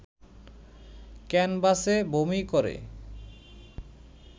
ক্যানভাসে বমি করে